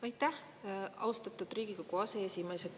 Aitäh, austatud Riigikogu aseesimees!